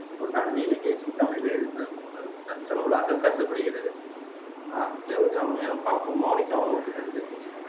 ஒன்றான நீலகேசி தமிழில் எழுந்த முதல் தர்க்க நூலாகக் கருதப்படுகிறது அஹ் இத கொஞ்சம் மேலும் பாப்போம் மோனிகா உங்களுக்கு தெரிஞ்சத நீங்க சொல்லுங்க